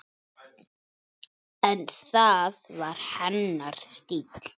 En það var hennar stíll.